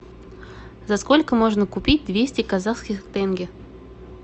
за сколько можно купить двести казахских тенге